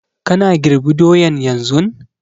Kana girb doyan yanzun?